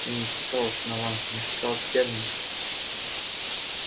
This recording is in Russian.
я не сказал основание я сказал терминус